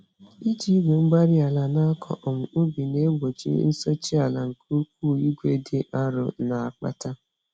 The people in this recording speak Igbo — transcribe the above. Iji Igwe-mgbárí-ala nakọ um ubi na-egbochi nsụchi-ala nke ụkwụ igwe dị arọ na-akpata.